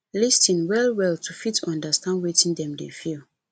lis ten well well to fit understand wetin dem dey feel